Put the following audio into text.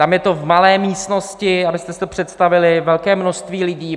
Tam je to v malé místnosti, abyste si to představili, velké množství lidí.